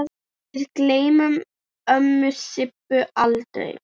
Við gleymum ömmu Sibbu aldrei.